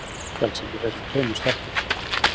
Er svefngalsi í þessum tveimur stelpum?